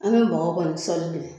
An bɛ mɔgɔ kɔ ni sɔli de